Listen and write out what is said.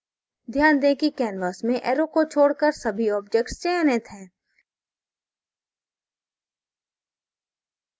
ध्यान दें कि canvas में arrow को छोडकर सभी objects चयनित हैं